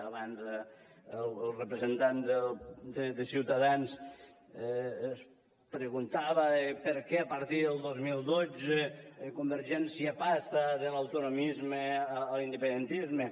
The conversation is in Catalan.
abans el representant de ciutadans es preguntava per què a partir del dos mil dotze convergència passa de l’autonomisme a l’independentisme